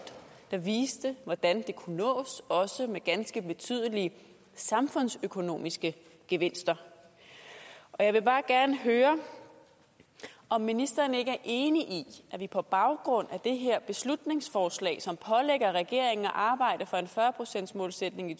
der viste hvordan det kunne nås også med ganske betydelige samfundsøkonomiske gevinster jeg vil bare gerne høre om ministeren ikke er enig i at vi på baggrund af det her beslutningsforslag som pålægger regeringen at arbejde for en fyrre procentsmålsætning i